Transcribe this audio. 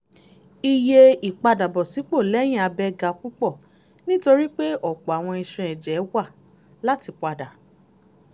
iye ìpadàbọ̀sípò lẹ́yìn abẹ́ ga púpọ̀ nítorí pé ọ̀pọ̀ àwọn ìṣàn ẹ̀jẹ̀ wà láti padà